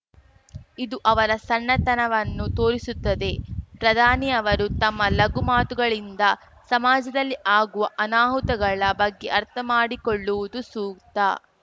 ಇದು ಅವರ ಸಣ್ಣತನವನ್ನು ತೋರಿಸುತ್ತದೆ ಪ್ರಧಾನಿಯವರು ತಮ್ಮ ಲಘು ಮಾತುಗಳಿಂದ ಸಮಾಜದಲ್ಲಿ ಆಗುವ ಅನಾಹುತಗಳ ಬಗ್ಗೆ ಅರ್ಥ ಮಾಡಿಕೊಳ್ಳುವುದು ಸೂಕ್ತ